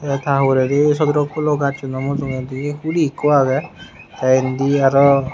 ta hurey di sodorok pulo gaz suno mujongodi huli ikko agey te indi arw.